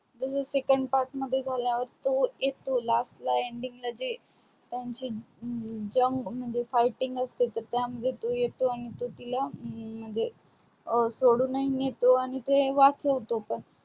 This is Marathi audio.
जस second part मध्ये झाल्या वर तो येतो last ending ला जे त्यांची जंग मध्ये fighting असतो तर त्या मध्ये तो येतो आणि तो तिला म्हणजे सोडून ही नेतो आणि वाचवतो पण